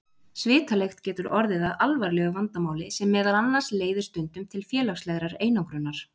Svitalykt getur orðið að alvarlegu vandamáli sem meðal annars leiðir stundum til félagslegrar einangrunar.